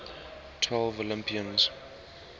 twelve olympians